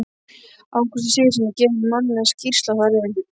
Ágústi Sigurðssyni, gefin munnleg skýrsla þar um.